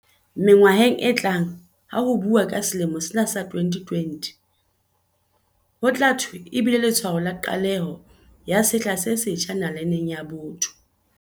Mengwaheng e tlang ha ho buuwa ka selemo sena sa 2020, ho tla thwe e bile letshwao la qaleho ya sehla se setjha na-laneng ya botho.